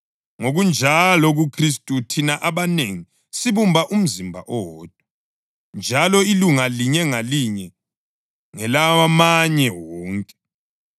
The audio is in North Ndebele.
Ngokunjalo kuKhristu thina abanengi sibumba umzimba owodwa, njalo ilunga linye ngalinye ngelawamanye wonke.